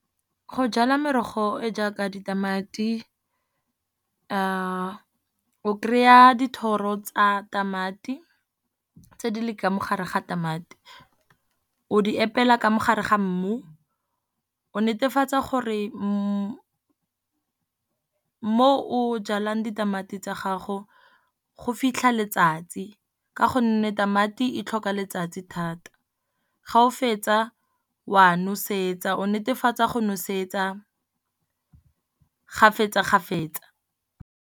Go jala merogo e jaaka ditamati o kry-a dithoro tsa tamati, tse di leng ka mo gare ga tamati. O di epela ka mo gare ga mmu, o netefatsa gore mo o jalang ditamati tsa gago, go fitlha letsatsi ka gonne tamati e tlhoka letsatsi thata. Ga o fetsa wa nosetsa, o netefatsa go nosetsa gafetsa-gafetsa.